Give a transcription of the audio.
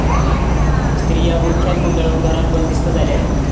स्त्रिया बुरख्यात गुंडाळून घरात बंदिस्त झाल्या आहेत.